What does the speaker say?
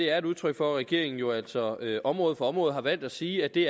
er et udtryk for at regeringen jo altså område for område har valgt at sige at det